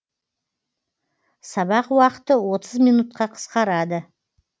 сабақ уақыты отыз минутқа қысқарады